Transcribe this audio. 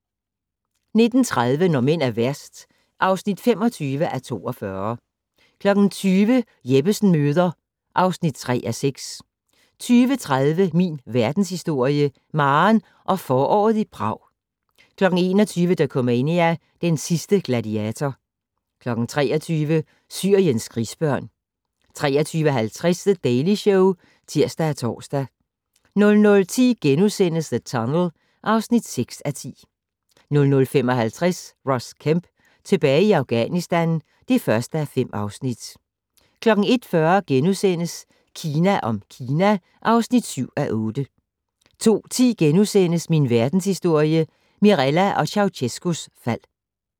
19:30: Når mænd er værst (25:42) 20:00: Jeppesen møder (3:6) 20:30: Min Verdenshistorie - Maren og foråret i Prag 21:00: Dokumania: Den sidste gladiator 23:00: Syriens krigsbørn 23:50: The Daily Show (tir og tor) 00:10: The Tunnel (6:10)* 00:55: Ross Kemp tilbage i Afghanistan (1:5) 01:40: Kina om Kina (7:8)* 02:10: Min Verdenshistorie - Mirella og Ceaucescaus fald *